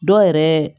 Dɔw yɛrɛ